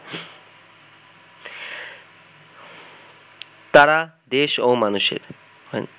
তারা দেশ ও মানুষের